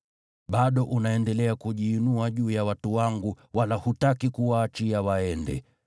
Bado unaendelea kujiinua juu ya watu wangu, wala hutaki kuwaachia waende.